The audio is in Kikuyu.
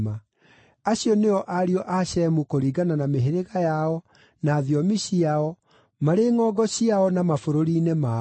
Acio nĩo ariũ a Shemu kũringana na mĩhĩrĩga yao, na thiomi ciao, marĩ ngʼongo ciao na mabũrũri-inĩ mao.